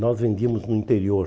Nós vendíamos no interior.